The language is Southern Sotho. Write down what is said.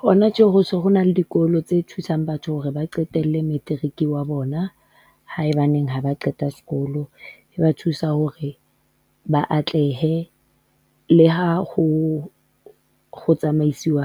Hona tje, ho so ho na le dikolo tse thusang batho hore ba qetelle Matric wa bona, haebaneng ha ba qeta sekolo, e ba thusa hore ba atlehe, le ha ho, ho tsamaisiwa